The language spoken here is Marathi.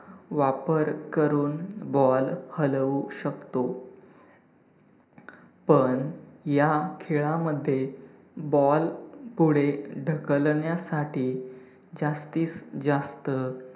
वापर करून ball हलवू शकतो पण ह्या खेळामध्ये ball पुढे ढकलण्यासाठी जास्तीत जास्त